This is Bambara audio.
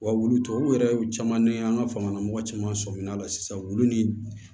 Wa wulu tɔw yɛrɛ caman ni an ka fangalamɔgɔ caman sɔminna la sisan wulu ni